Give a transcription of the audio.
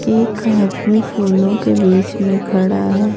एक आदमी फूलों के बीच में खड़ा है।